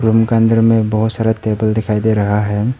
Room के अंदर में बहोत सारे टेबल दिखाई दे रहा है।